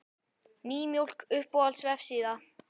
Nýmjólk Uppáhalds vefsíða?